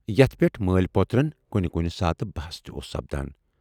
یَتھ پٮ۪ٹھ مٲلۍ پوترن کُنہِ کُنہِ ساتہِ بحث تہِ اوس سَپدان۔